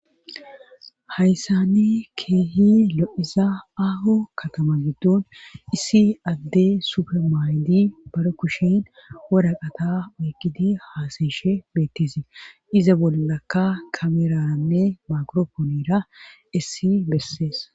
Hayssani keehi lo7iza aaho katama giddun issi adde supermaaydi bara kushin waraqata oygidi haasayishe beettisie iza bollaka kameraanne makropoonira issi bessees.